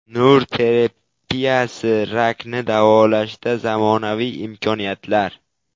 Nur terapiyasi: rakni davolashda zamonaviy imkoniyatlar.